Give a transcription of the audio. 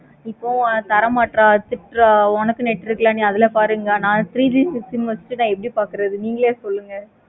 இப்போ தர மாற்ற தோற்ற உனக்கு net இருக்குல்ல அதுல பாரு. நா three G sim வச்சிட்டு எப்படி பாக்குறது நீங்களே சொல்லுங்க.